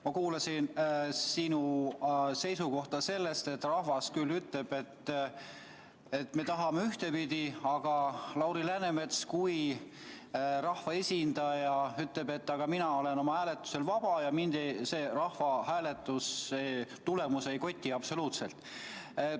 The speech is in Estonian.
Ma kuulasin sinu seisukohta, et rahvas küll ütleb, et nemad tahavad ühtepidi, aga Lauri Läänemets kui rahvaesindaja ütleb, et tema on hääletusel vaba ja teda rahvahääletuse tulemus absoluutselt ei koti.